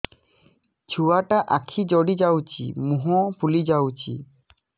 ଛୁଆଟା ଆଖି ଜଡ଼ି ଯାଉଛି ମୁହଁ ଫୁଲି ଯାଉଛି